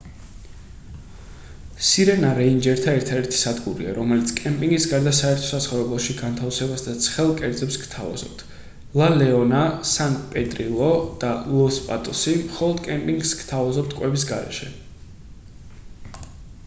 სირენა რეინჯერთა ერთადერთი სადგურია რომელიც კემპინგის გარდა საერთო საცხოვრებელში განთავსებას და ცხელ კერძებს გთავაზობთ ლა ლეონა სან პედრილო და ლოს პატოსი მხოლოდ კემპინგს გთავაზობთ კვების გარეშე